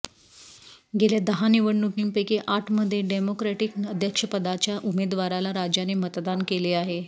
गेल्या दहा निवडणूकींपैकी आठमध्ये डेमोक्रेटिक अध्यक्षपदाच्या उमेदवाराला राज्याने मतदान केले आहे